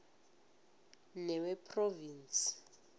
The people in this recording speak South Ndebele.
newephrovinsi